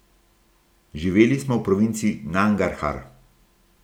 Živeli smo v provinci Nangarhar.